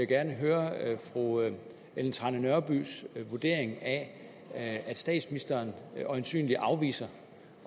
gerne høre fru ellen trane nørbys vurdering af at statsministeren øjensynlig afviser